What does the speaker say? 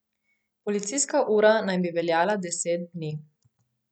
Policijska ura naj bi veljala deset dni.